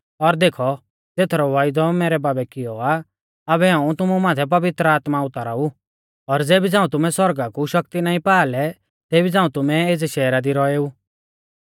और देखौ ज़ेथरौ वायदौ मैरै बाबै कियौ आ आबै हाऊं तुमु माथै पवित्र आत्मा उतारा ऊ और ज़ेबी झ़ांऊ तुमै सौरगा कु शक्ति नाईं पा लै तेबी झ़ांऊ तुमै एज़ै शैहरा दी रौएऊ